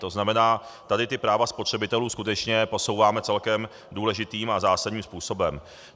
To znamená, tady ta práva spotřebitelů skutečně posouváme celkem důležitým a zásadním způsobem.